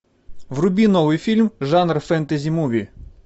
вруби новый фильм жанр фэнтези муви